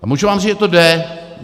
A můžu vám říct, že to jde.